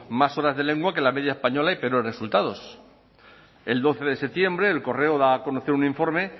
más horas de lengua que la media española y peores resultados el doce de septiembre el correo da a conocer un informe